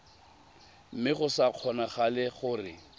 mme go sa kgonagale gore